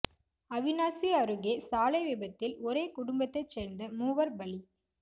அவிநாசி அருகே சாலை விபத்தில் ஒரே குடும்பத்தைச் சேர்ந்த மூவர் பலி